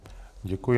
Děkuji.